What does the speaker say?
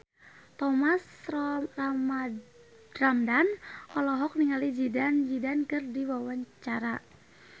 Thomas Ramdhan olohok ningali Zidane Zidane keur diwawancara